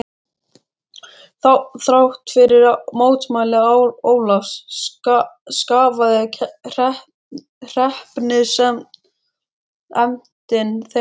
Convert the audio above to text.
Þrátt fyrir mótmæli Ólafs skaffaði hreppsnefndin þeim kú.